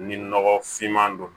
Ni nɔgɔ finman don